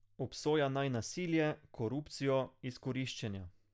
Obsoja naj nasilje, korupcijo, izkoriščenja.